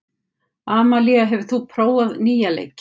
Amalía, hefur þú prófað nýja leikinn?